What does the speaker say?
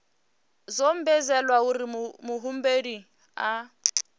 zwo ombedzelwa uri muhumbeli a